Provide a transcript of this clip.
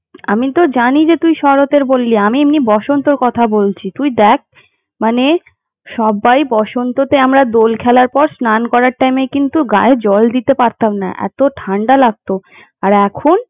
আমি তো জানি যে তুই শরৎয়ের কথা বললি তোকে এমনি বসন্তের কথা বলছি তুই দেখ মানে সবাই বসন্ততে আমরা দোল খেলার পর স্নান করার টাইমে কিন্তু গায়ে জল দিতে পারতাম না এতো ঠান্ডা লাগতো আর এখন।